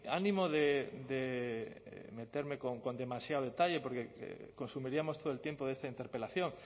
ánimo de meterme con demasiado detalle porque consumiríamos todo el tiempo de esta interpelación